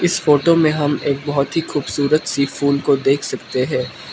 इस फोटो में हम एक बहुत ही खूबसूरत सी फूल को देख सकते हैं।